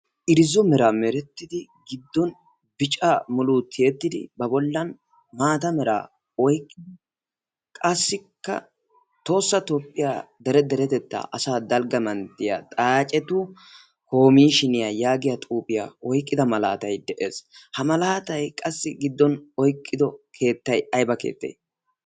irzzo meraa merettidi giddon bica muluu tiyeettidi ba bollan maata meraa oyqqid qassikka toossa toopphiyaa dere deretettaa asaa dalgga manttiya xaacetu komishiniyaa yaagiya xuuphiyaa oyqqida malaatay de'ees ha malaatay qassi giddon oyqqido keettay ayba keettee